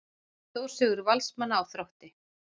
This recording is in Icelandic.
Stórsigur Valsmanna á Þrótti